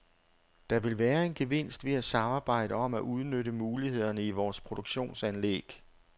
Der vil være en gevinst ved at samarbejde om at udnytte mulighederne i vores produktionsanlæg.